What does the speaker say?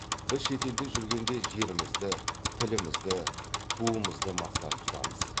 біз шетелде жүргенде жерімізді тілімізді туымызды мақтан тұтамыз